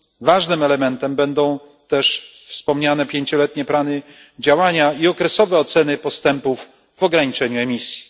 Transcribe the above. Ważnym elementem będą też wspomniane pięcioletnie plany działania i okresowe oceny postępów w ograniczeniu emisji.